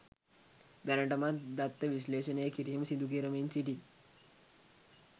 දැනටමත් දත්ත විශ්ලේෂණය කිරීම සිදුකරමින් සිටියි